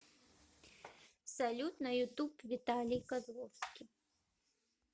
салют на ютуб виталий козловский